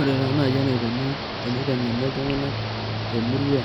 Ore taa naji enaikoni teniteng'eni iltung'anak temurua